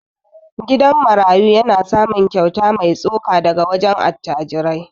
Gidan marayu yana samun kyauta mai tsoka daga wajen attajirai.